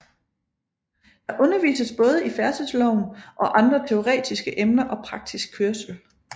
Der undervises både i færdselsloven og andre teoretiske emner og praktisk kørsel